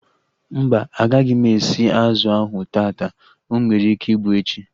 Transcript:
Mba, agaghị m esi azụ ahu taata. O nwere ike ịbụ echi